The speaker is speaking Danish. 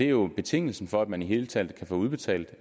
jo betingelsen for at man i det hele taget kan få udbetalt